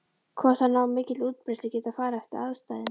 Hvort þær ná mikilli útbreiðslu getur farið eftir aðstæðum.